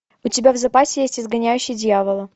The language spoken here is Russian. у тебя в запасе есть изгоняющий дьявола